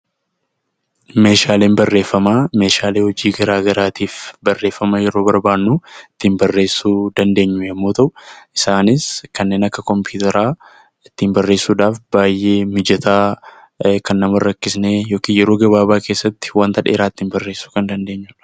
Meeshaaleen Barreeffamaa meeshaalee hojii gara garaatiif barreeffama yeroo barbaadnu ittiin barreessuu dandeenyu yommuu ta'u; isaanis kanneen akka Kompiyuutaraa ittiin barreessuudhaaf baay'ee mijataa, ittiin barreessuudhaaf kan nama hin rakkisne, yookiin yeroo gabaabaa keessatti wanta dheeraa ittiin barreessuu dandeenyu dha.